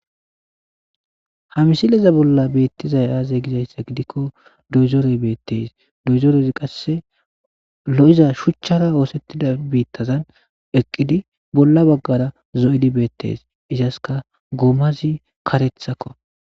Ha missileza bola betizay aze gizaysa gidiko doyzorey betes doyzorezi qase lo'za shuchara osetida bitazan eqidi bola bagara zo'idi betes izasika gomazi karethakko.